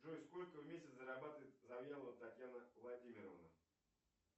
джой сколько в месяц зарабатывает завьялова татьяна владимировна